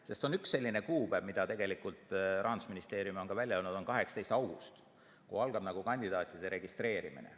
Sest on üks selline kuupäev, mille Rahandusministeerium on välja öelnud, nimelt 18. august, kui algab kandidaatide registreerimine.